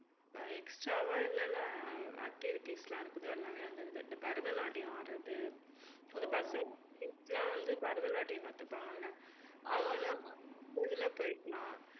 ஆஹ் extra வா என்னென்ன activities லாம் இருக்குதோ எல்லாமே வந்துருது. இந்த பரதநாட்டியம் ஆடுறது இந்தப் பசங்க வந்து பரதநாட்டியம் கத்துப்பாங்கல்ல இதுல போய்க்கலாம்